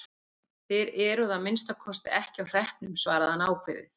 Þið eruð að minnsta kosti ekki á hreppnum, svaraði hann ákveðið.